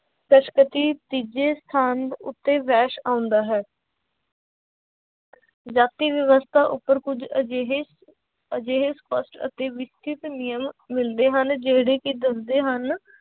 ਤੀਜੇ ਸਥਾਨ ਉੱਤੇ ਵੈਸ਼ ਆਉਂਦਾ ਹੈ ਜਾਤੀ ਵਿਵਸਥਾ ਉੱਪਰ ਕੁੱਝ ਅਜਿਹੇ ਅਜਿਹੇ ਸਪਸ਼ਟ ਅਤੇ ਨਿਯਮ ਮਿਲਦੇ ਹਨ ਜਿਹੜੇ ਕਿ ਦੱਸਦੇ ਹਨ,